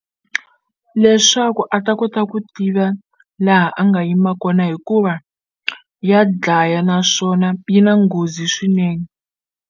Leswaku a ta kota ku tiva laha a nga yima kona hikuva ya dlaya naswona yi na nghozi swinene.